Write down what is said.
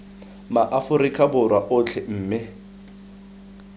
ma aforika borwa otlhe mme